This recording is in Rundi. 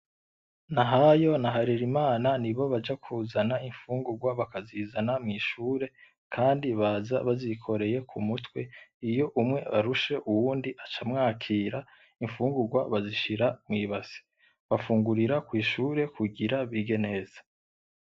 Nahayo na Harerimana ni bo baja kuzana imfungurwa, bakazizana mw’ishure, kandi baza bazikoreye ku mutwe. Iyo umwe arushe, uyundi aca amwakira. Imfungurwa bazishira mw’ibase bafungurira kw’ishure, kugira bige neza.